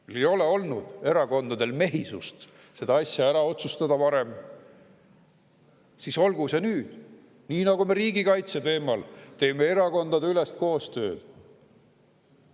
Kui ei ole olnud erakondadel mehisust seda asja ära otsustada varem, siis olgu see nüüd, nii nagu me riigikaitse teemal teeme erakondadeülest koostööd.